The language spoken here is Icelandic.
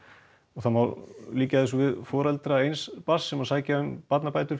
það má líkja þessu við foreldra eins barns sem sækja um barnabætur